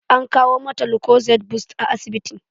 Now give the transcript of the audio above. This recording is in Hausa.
An kawo mata lukozed bust a asibiti.